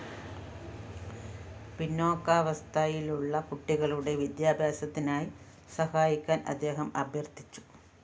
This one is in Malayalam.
പിന്നോക്കാവസ്ഥയിലുള്ള കുട്ടികളുടെ വിദ്യാഭ്യാസത്തിനായി സഹായിക്കാന്‍ അദ്ദേഹം അഭ്യര്‍ഥിച്ചു